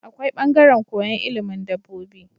Akwai bangaran koyan ilimin dabobi